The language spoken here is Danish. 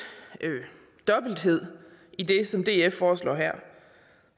dobbelthed i det som df foreslår her